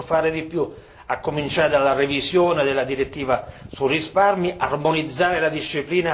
Commissione e Consiglio possono e devono fare di più, a cominciare dalla revisione della direttiva sui risparmi.